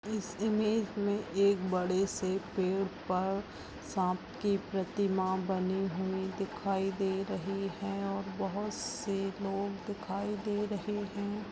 इस इमेज मे एक बड़े से पेड़ पर सांप की प्रतिमा बनी हुई दिखाई दे रही है और बहुत से लोग दिखाई दे रहे है ।